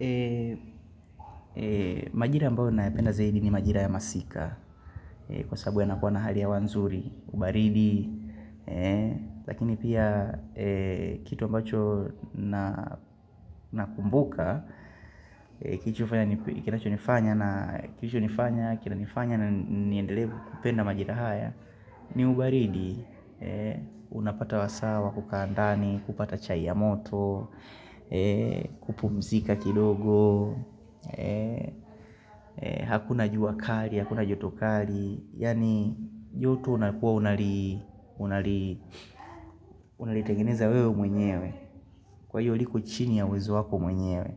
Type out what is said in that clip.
Eee, majira ambayo nayapenda zaidi ni majira ya masika Kwa sababu ya nakuwa na hali ya wanzuri, baridi Eee, lakini pia, eee, kitu ambacho na kumbuka Eee, kinacho nifanya na, kilicho nifanya, kina nifanya na niendelee kupenda majira haya ni ubaridi, eee, unapata wasawa kukaandani, kupata chai ya moto Eee, kupumzika kidogo Hakuna jua kari Hakuna joto kari Yani joto unakuwa unalitengeneza wewe mwenyewe Kwa hiyo liko chini ya uwezo wako mwenyewe